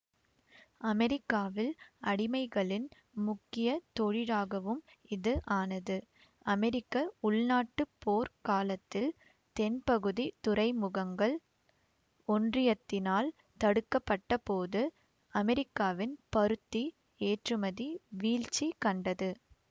அமெரிக்காவில் அடிமைகளின் முக்கிய தொழிலாகவும் இது ஆனது அமெரிக்க உள்நாட்டுப் போர்க் காலத்தில் தென்பகுதித் துறைமுகங்கள் ஒன்றியத்தினால் தடுக்கப்பட்டபோது அமெரிக்காவின் பருத்தி ஏற்றுமதி வீழ்ச்சி கண்டது